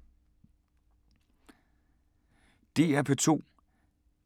DR P2